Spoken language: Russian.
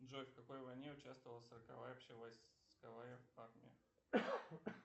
джой в какой войне участвовала сороковая общевойсковая армия